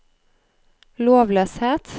lovløshet